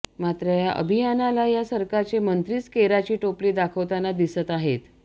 मात्र या अभियानाला या सरकारचे मंत्रीच केराची टोपली दाखवताना दिसत आहेत